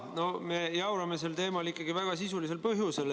No me jaurame sel teemal ikkagi väga sisulisel põhjusel.